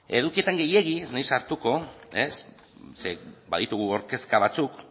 edukietan gehiegi ez naiz hartuko ze baditugu hor kezka batzuk